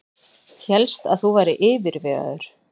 Hélst að þú værir yfirvegaður.